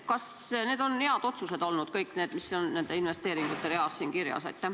Kas need on head otsused olnud, kõik need, mis on investeeringute real kirjas?